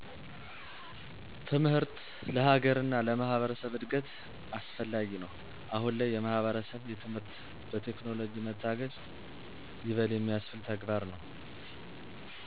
ትምህር ለሀገር እና ለማህበረሰብ እድገት አስፈላጊ ነው አሁን ላይ የማህበረሰብ የትምህርት በቴክኖለጅ መታገዙ ይበል የሚያስብል ተግባር ነው